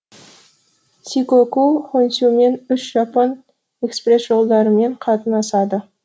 сикоку хонсюмен үш жапон экпресс жолдарымен қатынасады